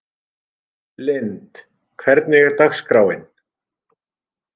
Lynd, hvernig er dagskráin?